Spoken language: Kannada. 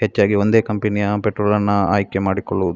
ಹೆಚ್ಚಾಗಿ ಒಂದೇ ಕಂಪೆನಿಯ ಪೆಟ್ರೋಲನ್ನ ಆಯ್ಕೆ ಮಾಡಿಕೊಳ್ಳು --